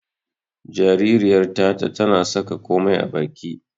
Jaririyar Tata tana saka komai a baki.